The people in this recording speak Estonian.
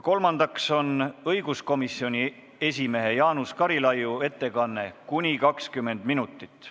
Kolmandaks on õiguskomisjoni esimehe Jaanus Karilaiu ettekanne kuni 20 minutit.